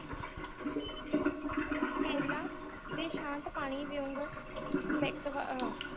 ਕਿਰਲਾ ਦੈ ਸ਼ਾਂਤ ਪਾਣੀ ਡੇ ਵਾਂਗੂ ਦਿਤਵ